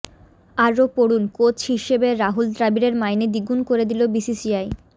আরও পড়ুন কোচ হিসেবে রাহুল দ্রাবিড়ের মাইনে দ্বিগুণ করে দিল বিসিসিআই